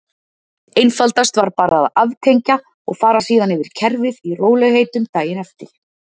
Einfaldast var bara að aftengja og fara síðan yfir kerfið í rólegheitunum daginn eftir.